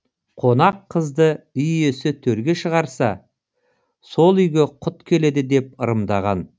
қонақ қызды үй иесі төрге шығарса сол үйге құт келеді деп ырымдаған